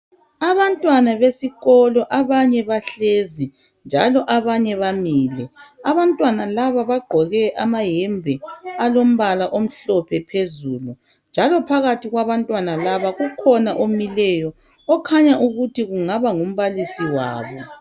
Abantwana besikolo abanye bahlezi njalo abanye bamile. Abantwana laba bagqoke amayembe alombala omhlophe phezulu njalo phakathi kwabantwana laba kukhona omileyo okhanya ukuthi kungaba ngumbalisi wabo.